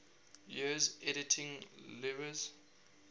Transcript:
years editing lewes's